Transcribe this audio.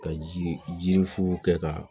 Ka ji jiri fu kɛ ka